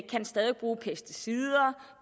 kan stadig bruge pesticider